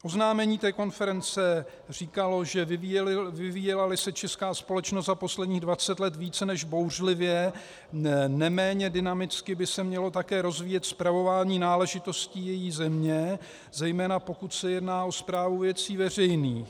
Oznámení konference říkalo, že "vyvíjela-li se česká společnost za posledních 20 let více než bouřlivě, neméně dynamicky by se mělo také rozvíjet spravování náležitostí její země, zejména pokud se jedná o správu věcí veřejných.